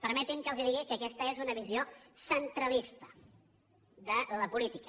permetin me que els digui que aquesta és una visió centralista de la política